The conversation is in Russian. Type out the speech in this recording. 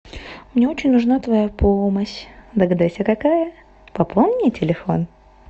мне очень нужна твоя помощь догадайся какая пополни телефон